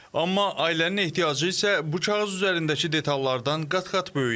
Amma ailənin ehtiyacı isə bu kağız üzərindəki detallardan qat-qat böyükdür.